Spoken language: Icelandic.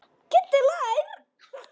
Kiddi hlær.